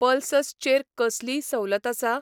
Pulses चेर कसलीय सवलत आसा ?